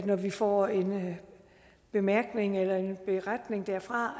når vi får en bemærkning eller en beretning derfra